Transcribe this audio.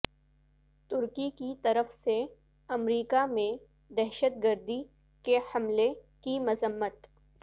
ترکی کی طرف سے امریکہ میں دہشت گردی کے حملے کی مذمت